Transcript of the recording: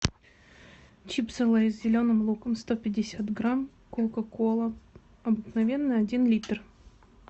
чипсы лейс с зеленым луком сто пятьдесят грамм кока кола обыкновенная один литр